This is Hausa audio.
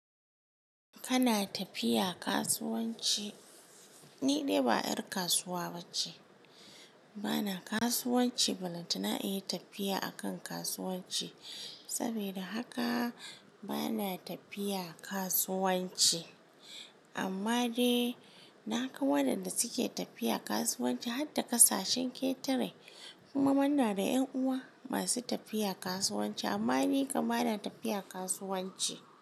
Kana tafiya kasuwanci? Ni dai ba 'yar kasuwa ba ce. Bana kasuwanci, balantana in yi tafiya a kan kasuwanci. Saboda haka bana tafiya kasuwanci. Amma dai naga waɗanda suke tafiya kasuwanci har da ƙasashen ketare. Kuma muna da 'yan uwa masu tafiya kasuwanci. Amma ni kam na tafiya kasuwanci.